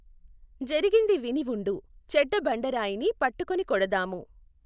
జరిగింది విని ఉండు, చెడ్డ బండ రాయిని పట్టుకుని కోడధాము!